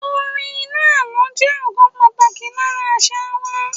Orin inú àlọ́ jẹ́ ọ̀kan pàtàkì lára àṣà wa.